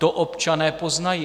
To občané poznají.